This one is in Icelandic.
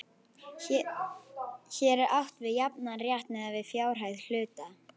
Hér er átt við jafnan rétt miðað við fjárhæð hluta.